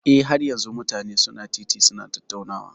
Eh, har yanzun mutane su na titi su na tattaunawa.